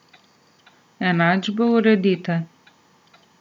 Enačbe uredite.